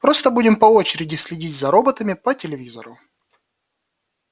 просто будем по очереди следить за роботами по телевизору